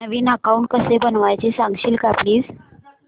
नवीन account कसं बनवायचं सांगशील का प्लीज